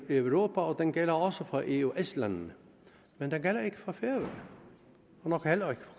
europa og den gælder også for eøs landene men den gælder ikke for færøerne og nok heller ikke